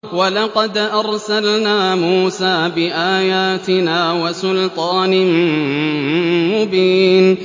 وَلَقَدْ أَرْسَلْنَا مُوسَىٰ بِآيَاتِنَا وَسُلْطَانٍ مُّبِينٍ